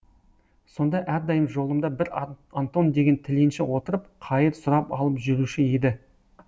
сонда әрдайым жолымда бір антон деген тіленші отырып қайыр сұрап алып жүруші еді